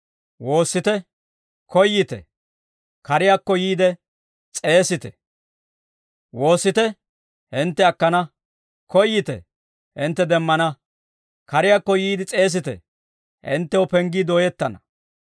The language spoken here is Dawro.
«Woossite; hintte akkana. Koyyite; hintte demmana. Kariyaakko yiide s'eesite; hinttew penggii dooyettana.